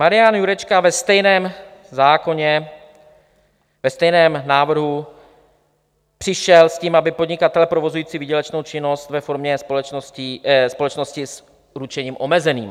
Marian Jurečka ve stejném zákoně, ve stejném návrhu přišel s tím, aby podnikatelé provozující výdělečnou činnost ve formě společnosti s ručením omezeným.